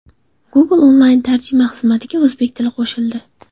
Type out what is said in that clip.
Google onlayn tarjima xizmatiga o‘zbek tili qo‘shildi.